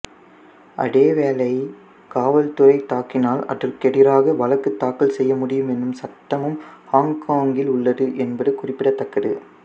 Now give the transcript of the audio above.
அதேவேளை காவல்துறை தாக்கினால் அதற்கு எதிராக வழக்கு தாக்கல் செய்யமுடியும் எனும் சட்டமும் ஹொங்கொங்கில் உள்ளது என்பது குறிப்பிடத்தக்கது